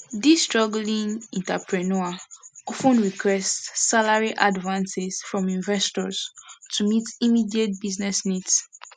di struggling entrepreneur of ten requests salary advances from investors to meet immediate business needs